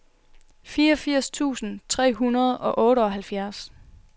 fireogfirs tusind tre hundrede og otteoghalvfjerds